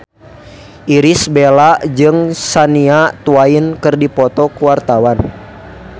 Irish Bella jeung Shania Twain keur dipoto ku wartawan